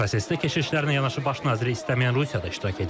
Prosesdə keşişlərlə yanaşı baş naziri istəməyən Rusiya da iştirak edir.